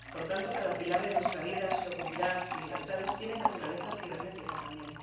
Por tanto, cada pilar de nuestra vida, seguridad y libertades tiene naturaleza cibernética también.